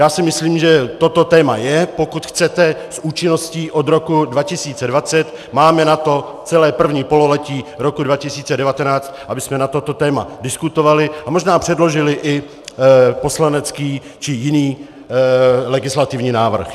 Já si myslím, že toto téma je, pokud chcete s účinností od roku 2020, máme na to celé první pololetí roku 2019, abychom na toto téma diskutovali a možná předložili i poslanecký či jiný legislativní návrh.